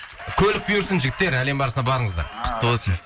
көлік бұйырсын жігіттер әлем барысына барыңыздар құтты болсын